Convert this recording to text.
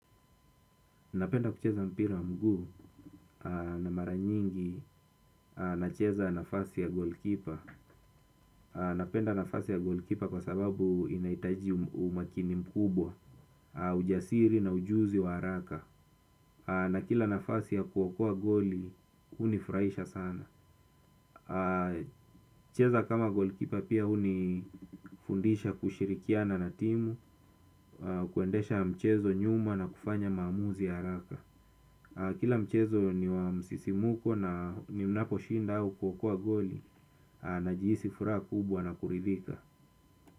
Napenda kucheza mpira mguu na mara nyingi nacheza nafasi ya golikipa. Napenda nafasi ya golikipa kwa sababu inaitaji umakini mkubwa, ujasiri na ujuzi wa haraka. Na kila nafasi ya kuokoa goli, hunifraisha sana. Kucheza kama golikipa pia hunifundisha kushirikiana na timu, na kuendesha mchezo nyuma na kufanya maamuzi ya haraka. Kila mchezo ni wa msisimuko na ninaposhinda au kuokoa goli, najihisi furaha kubwa na kuridhika.